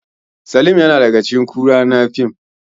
Salim yana daga cikin kuru na fim